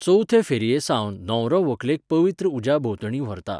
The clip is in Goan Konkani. चवथे फेरयेसावन न्हवरो व्हंकलेक पवित्र उज्या भोंवतणीं व्हरता.